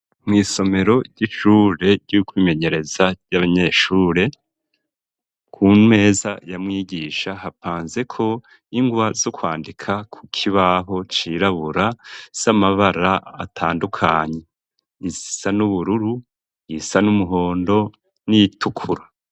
Mw'isomero ry'ishure ry'ukwimenyereza ry'abanyeshure, ku meza ya mwigisha hapanzeko ingwa zo kwandika ku kibaho cirabura, z'amabara atandukanye. Izisa n'ubururu, iyisa n'umuhondo, n'iyitukura.